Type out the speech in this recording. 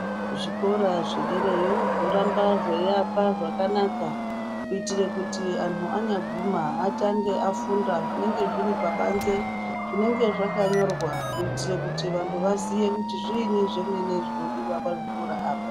Zvikora zvederayo zvoramba zvaiakwa zvakanaka kuitira kuti antu anyaguma atenge aifunda zvinenge zviri pabanze zvinenge zvakanyorwa kuitira kuti vantu vaziye kuti zviini zvemene zvinodiwa pazvikora apa.